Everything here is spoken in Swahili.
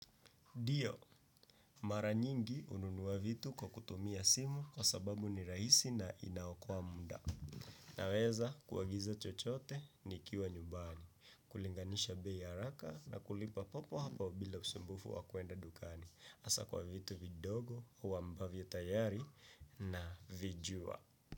Dio, mara nyingi ununuwa vitu kwa kutumia simu kwa sababu ni rahisi na inaokoa munda. Naweza kuagiza chochote ni kiwa nyumbani, kulinganisha bei ya haraka na kulipa papo hapo bila usumbufu wa kuenda dukani. Asa kwa vitu vidogo, au ambavyo tayari na vijua.